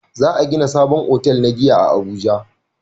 Za a gina sabon otal na giya a abuja